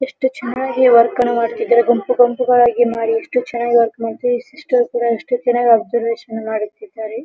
ಎಷ್ಟು ಚನ್ನಾಗಿ ವರ್ಕ್ ಅನ್ನು ಮಾಡುತ್ತಿದ್ದಾರೆ ಗುಂಪು ಗುಂಪುಗಳಾಗಿ ಮಾಡಿ ಎಷ್ಟು ಚನ್ನಾಗಿ ವರ್ಕ್ ಮಾಡತ್ತದೆ ಸಿಸ್ಟರ್ ಕೂಡ ಎಷ್ಟು ಚನ್ನಾಗಿ ಅಬ್ಬಸೆರ್ವಶನ್ ಮಾಡುತ್ತಿದ್ದಾರೆ.